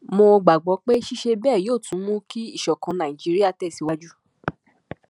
mo gbàgbọ pé ṣíṣe bẹẹ yóò tún mú kí ìṣọkan nàìjíríà tẹsíwájú